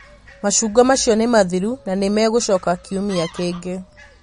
macungwa macio nĩ mathiru na nĩ megũcoka kiumia kĩngĩ